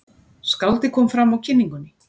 Skáldið kom fram á kynningunni.